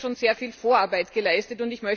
Hier wurde schon sehr viel Vorarbeit geleistet.